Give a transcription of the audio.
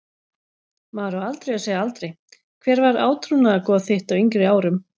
Maður á aldrei að segja aldrei Hver var átrúnaðargoð þitt á yngri árum?